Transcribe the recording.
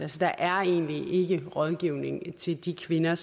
der er egentlig ikke rådgivning til de kvinder